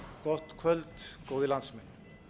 gott kvöld góðir landsmenn